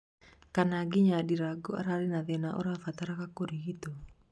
Kana nginya Ndirangu ararĩ na thĩna ũrabataraga kũrigitwo